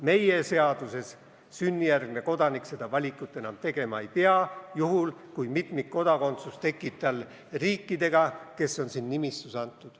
Meie seaduseelnõu kohaselt sünnijärgne kodanik seda valikut enam tegema ei pea, juhul kui mitmikkodakondsus tekib tal seoses riikidega, kes on siin nimistus antud.